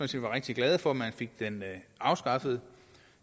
set var rigtig glade for at man fik den afskaffet